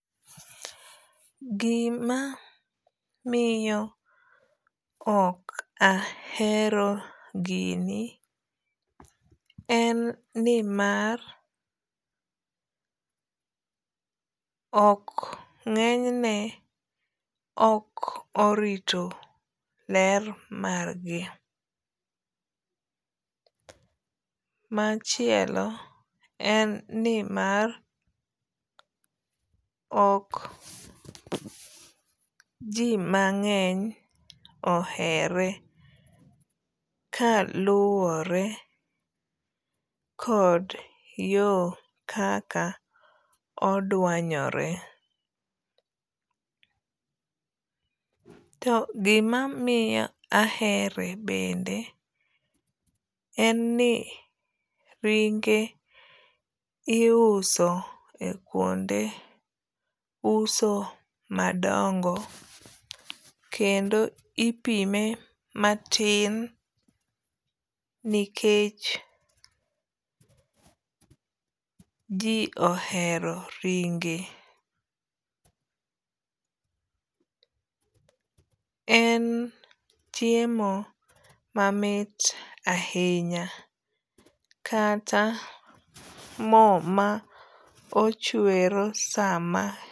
Gima miyo ok ahero gini en nimar ok ng'enyne ok orito ler mar gi. Machielo en nimar ok ji mang'eny ohere ka luwore kod yo kaka odwanyore. To gimamiyo ahere bende en ni ringe iuso e kuonde uso madongo kendo ipime matin nikech ji ohero ringe. En chiemo mamit ahinya kata mo ma ochwero sama.